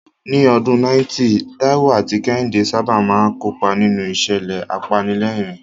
Ní ọdún 90, Taiwo àti Kehinde sábà máa ń kópa nínú ìṣẹ̀lẹ̀ apanilẹ́rìn-ín.